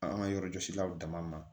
An ka yɔrɔjɔsilaw dama ma